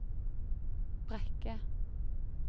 Brekke